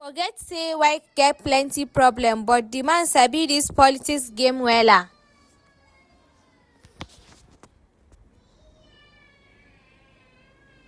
Forget say Wike get plenty problem but the man sabi dis politics game wella